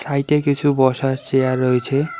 সাইটে কিছু বসার চেয়ার রয়েছে।